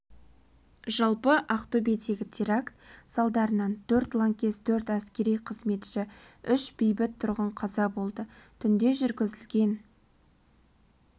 жалпы ақтөбедегі теракт салдарынан төрт лаңкес төрт әскери қызметші үш бейбіт тұрғын қаза болды түнде жүргізілген